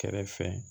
Kɛrɛfɛ